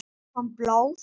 Kom blóð?